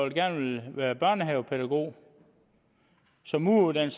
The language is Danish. gerne ville være børnehavepædagog som mureruddannet